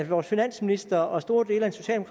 vores finansminister og store dele af den